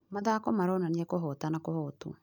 Mathako maronania kũhota na kũhotwo.